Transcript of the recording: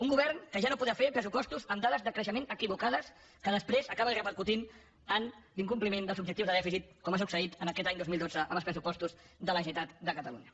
un govern que ja no podrà fer pressupostos amb dades de creixement equivocades que després acaben repercutint en l’incompliment dels objectius de dèficit com ha succeït en aquest any dos mil dotze amb els pressupostos de la generalitat de catalunya